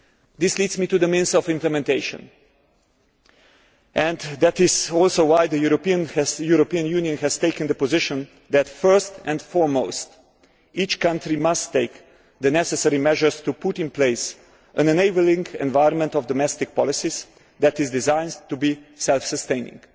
This leads us to the means of implementation, and that is also why the European Union has taken the position that first and foremost each country must take the necessary measures to put in place an enabling environment of domestic policies that is designed to be self sustaining.